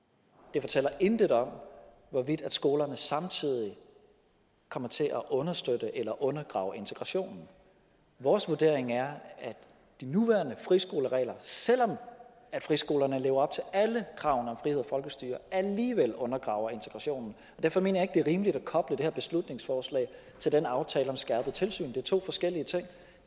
det fortæller intet om hvorvidt skolerne samtidig kommer til enten at understøtte eller undergrave integrationen vores vurdering er at de nuværende friskoleregler selv om friskolerne lever op til alle kravene om frihed og folkestyre alligevel undergraver integrationen derfor mener jeg det er rimeligt at koble det her beslutningsforslag til den aftale om skærpet tilsyn det er to forskellige ting